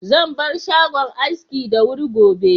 Zan bar shagon aski da wuri gobe.